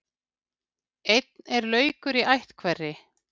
Einn er laukur í ætt hverri.